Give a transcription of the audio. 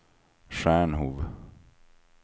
Stjärnhov